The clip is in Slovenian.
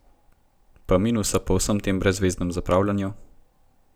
Pa minusa po vsem tem brezzveznem zapravljanju?